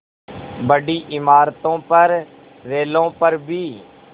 बड़ी इमारतों पर रेलों पर भी